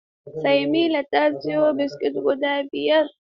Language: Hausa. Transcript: Samaila ya siyo biskit guda biyar.